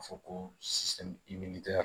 A fɔ ko